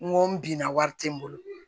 N ko n binna wari tɛ n bolo